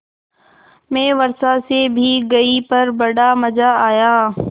मैं वर्षा से भीग गई पर बड़ा मज़ा आया